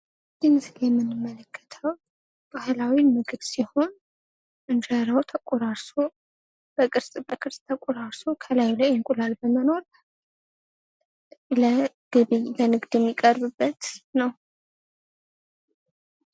ይህ ምስል የምንመለከተው ባህላዊ ምግብ ሲሆን እንጀራው ተቆራርሶ በቅርጽ በቅርጽ ተቆራርሶ ከላይ እንቁላል በማኖር ለግብይት ለንግድ የሚቀርብበት ነው።